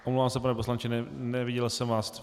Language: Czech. Omlouvám se, pane poslanče, neviděl jsem vás.